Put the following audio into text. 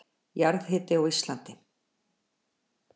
Jarðhiti á Íslandi